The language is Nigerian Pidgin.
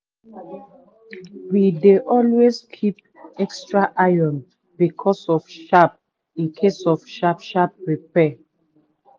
we dey always keep extra iron incase of sharp incase of sharp sharp repair.